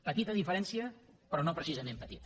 petita diferència però no precisament petita